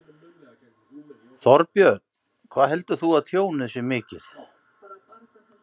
Þorbjörn: Hvað heldur þú að tjónið sé mikið?